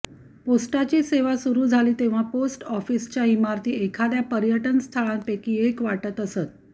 पोस्टाची सेवा सुरु झाली तेव्हा पोस्ट ऑफिसच्या इमारती एखाद्या पर्यटन स्थळांपैकी एक वाटत असत